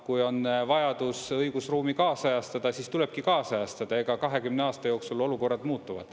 Kui on vajadus õigusruumi kaasajastada, siis tulebki kaasajastada, 20 aasta jooksul olukorrad muutuvad.